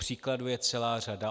Příkladů je celá řada.